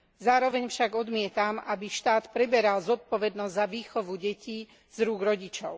Zároveň však odmietam, aby štát preberal zodpovednosť za výchovu detí z rúk rodičov.